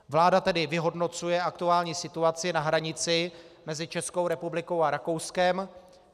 Vláda tedy vyhodnocuje aktuální situaci na hranici mezi Českou republikou a Rakouskem.